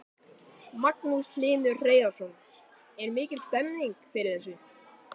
Magnús Hlynur Hreiðarsson: Er mikil stemning fyrir þessu?